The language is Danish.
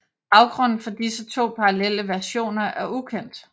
Baggrunden for disse to parallelle versioner er ukendt